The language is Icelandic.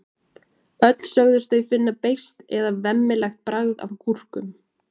öll sögðust þau finna beiskt eða „vemmilegt“ bragð af gúrkum